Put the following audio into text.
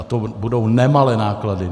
A to budou nemalé náklady.